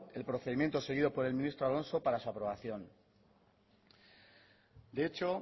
el procedimiento seguido por el ministro alonso para su aprobación de hecho